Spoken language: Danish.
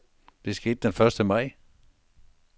Det skete den første maj.